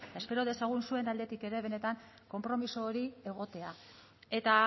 eta espero dezagun zuen aldetik ere benetan konpromiso hori egotea eta